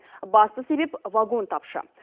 басты себеп вагон тапшы